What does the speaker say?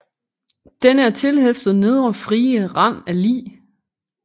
Denne er tilfhæftet nedre frie rand af lig